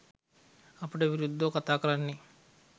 අපිට විරුද්ධව කතාකරන්නේ